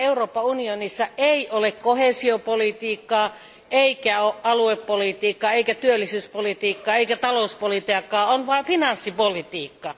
Pian Euroopan unionissa ei ole koheesiopolitiikkaa, eikä aluepolitiikkaa, eikä työllisyyspolitiikkaa, eikä talouspolitiikkaa, on vain finanssipolitiikkaa.